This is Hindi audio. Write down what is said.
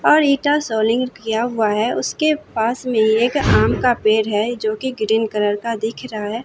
और इंटा सॉलिड किया हुआ है उसके पास में एक आम का पेड़ है जो कि ग्रीन कलर का दिख रहा है।